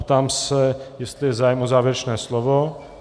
Ptám se, jestli je zájem o závěrečné slovo.